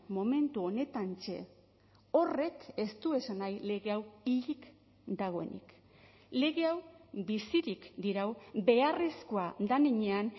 momentu honetantxe horrek ez du esan nahi lege hau hilik dagoenik lege hau bizirik dirau beharrezkoa den heinean